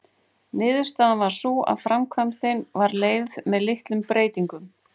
Niðurstaðan varð sú að framkvæmdin var leyfð með litlum breytingum.